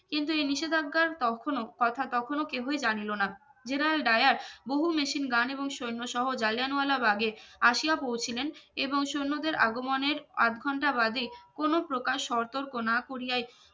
কিন্তু এই নিষেধাজ্ঞার তখনো কথা তখনো কেউহি জানিল না generaldayar বহু মেশিন gun এবং সৈন্যসহ জালিয়ানওয়ালাবাগে আশিয়া পৌঁছিলেন এবং সৈন্যদের আগমনের আধ ঘন্টা বাদে কোনো প্রকাশ সতর্কই না করিয়াই